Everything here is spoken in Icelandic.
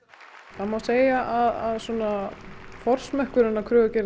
það má segja að forsmekkurinn af kröfugerðinni